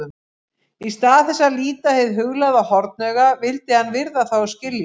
Í stað þess að líta hið huglæga hornauga vildi hann virða það og skilja.